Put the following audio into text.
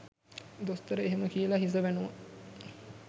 දොස්තර එහෙම කියලා හිස වැනුවා.